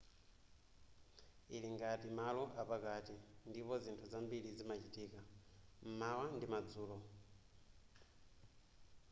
ili ngati malo apakati ndipo zinthu zambiri zimachitika m'mawa ndi madzulo